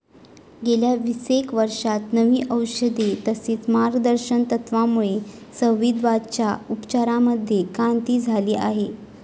गेल्या विसेक वर्षात नवी औषधे, तसेच मार्गदर्शक तत्वामुळे संधीवाताच्या उपचारांमध्ये क्रांती झाली आहे.